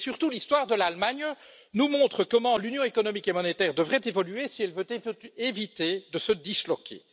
L'histoire de l'Allemagne nous montre surtout comment l'Union économique et monétaire devrait évoluer si elle veut éviter de se disloquer.